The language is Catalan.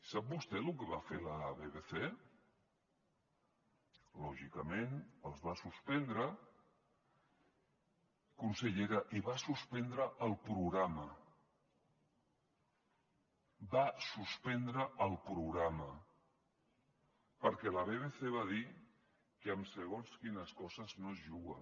sap vostè lo que va fer la bbc lògicament els va suspendre consellera i va suspendre el programa va suspendre el programa perquè la bbc va dir que amb segons quines coses no es juga